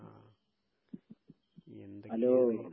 ങാ....എന്തൊക്കെയാണ്?